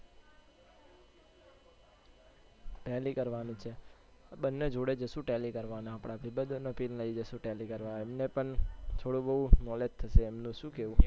telly કરવાનું છે બંને જોડે જઈશું telly કરવા આપણા બધા ને બી લઇ જઈશું telly કરવા એમને પણ થોડું બઉ knowledge થશે એમનું તો શું કેવું